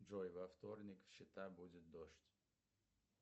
джой во вторник чита будет дождь